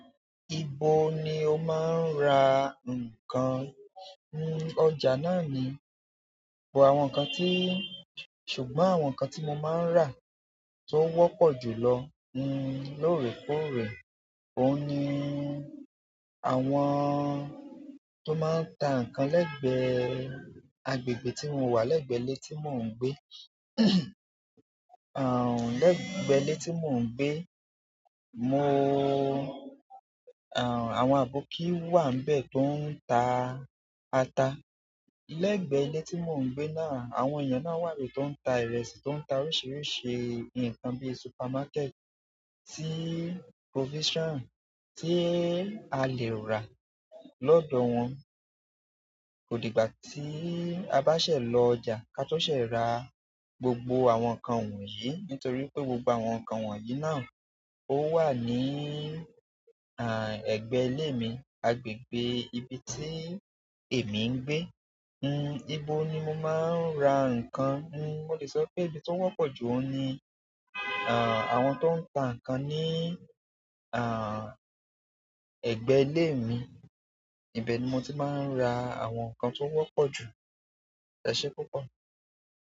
Ibo ni o máa ń ra nǹkan? Ọjà na ni àwọn nǹkan tí, ṣùgbọ́n àwọn nǹkan tí mo máa ń rà tó wọ́pọ̀ jùlọ ni lórèkóòrè òun ni àwọn tó máa ń ta nǹkan lẹ́gbẹ̀ẹ́ agbègbè tí mo wà lẹ́gbẹ̀ẹ́ ilé tí mò ń gbé. Àn, lẹ́gbẹ̀ẹ́ ilé tí mò ń gbé, mo, àn, àwọn aboki wà níbẹ̀ tó ń ta ata. Lẹ́gbẹ̀ẹ́ ilé tí mò ń gbé náà, àwọn èèyàn náà wà níbẹ̀ tó ń ta ìrẹsì, tó ń ta oríṣiríṣi nǹkan bí supermarket téé provision tí a lè rà lọ́dọ̀ wọn. Kò dìgbà tí a bá ṣẹ̀ lọ ọjà ká tó ṣẹ̀ rà gbogbo àwọn nǹkan wọ̀nyí nítorí pé gbogbo àwọn nǹkan wọ̀nyí náà ó wà ní, àn, ẹgbẹ́ ilé mi, agbègbè ibi tí èmi ń gbé. Hmm, ibo ni mo máa ń ra nǹkan? Mo lè sọ pé ibi tó wọ́pọ̀ jù ó ni, àn, àwọn tó ń ta nǹkan ní, àn, ẹgbẹ́ ilé mi. Ibẹ̀ ni mo ti máa ń ra àwọn nǹkan tó wọ́pọ̀ jù. E se púpọ̀.